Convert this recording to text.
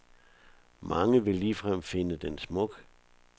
Mange vil ligefrem finde den smuk.